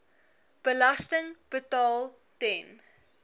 belasting betaal ten